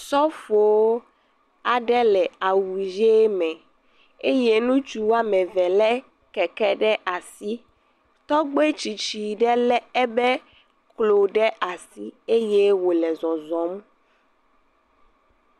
Sɔfowo aɖe le awu ʋe eye ŋutsu woame eve lé keke ɖe asi. Tɔgbe tsitsi ɖe ebe klo ɖe asi eye wòlé zɔzɔm.